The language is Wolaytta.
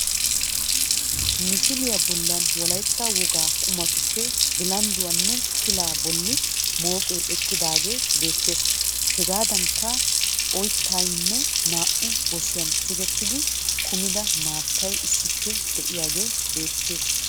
Misiliya bollan wolaytta wogaa qummatuppe bilandduwanne pilaa bolli mooqee eqqidaagee beettees. Hegaadankka oyttaynne naa''u gosiyan tigettidi kumida maattay issippe de'iyagee beettees.